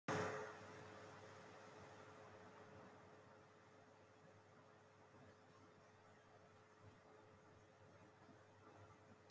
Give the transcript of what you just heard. En hvernig gengur skólahald í svona fámenni?